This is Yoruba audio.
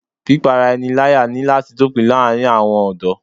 Pípá ara ẹni láyà ní láti dópin láàárín àwọn ọ̀dọ́